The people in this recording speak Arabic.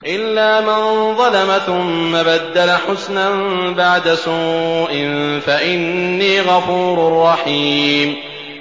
إِلَّا مَن ظَلَمَ ثُمَّ بَدَّلَ حُسْنًا بَعْدَ سُوءٍ فَإِنِّي غَفُورٌ رَّحِيمٌ